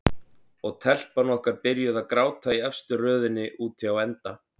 Og telpan okkar byrjuð að gráta í efstu röðinni úti á enda.